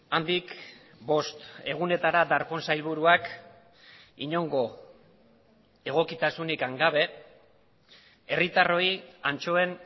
handik bost egunetara darpón sailburuak inongo egokitasunik gabe herritarroi antxoen